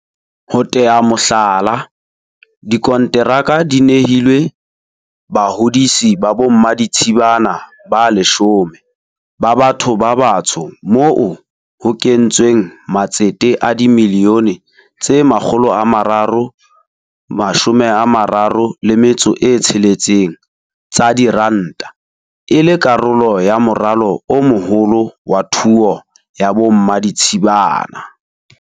Ho tea mohlala, dikonteraka di nehilwe bahodisi ba bommaditshibana ba 10 ba batho ba batsho moo ho kentsweng matsete a dimilione tse 336 tsa diranta, e le karolo ya moralo o moholo wa thuo ya bommaditshibana.